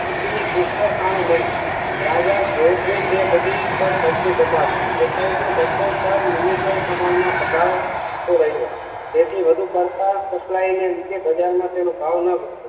એની પુષ્કળ ખાણો મળી. રાજા જયોર ની તે બધી પર કબજો જમાવ્યો ગ્રેફાઇટ નો જથ્થો પણ પ્રમાણ માં ઘટાડો થતો રહ્યો તેથી વધુ પડતા સપ્લાય ને લીધે બજાર માં તેનો ભાવ ન બગદિયો